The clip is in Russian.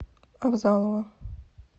авзалова